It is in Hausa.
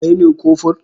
Kai ne kofur?